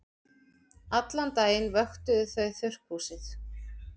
Allan daginn vöktuðu þau þurrkhúsið.